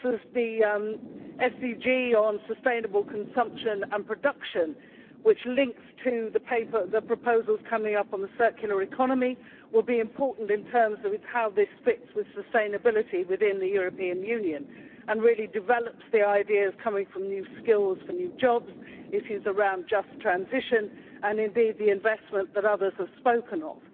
The SDG on sustainable consumption and production, which links to the proposals coming up on the circular economy, will be important in terms of how this fits with sustainability within the European Union and really develops the ideas on new skills for new jobs, issues around just transition, and indeed the investment that others have spoken of.